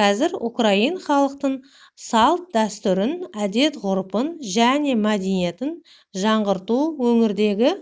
қазір украин халқының салт-дәстүрін әдет-ғұрпын және мәдееиетін жаңғырту өңірдегі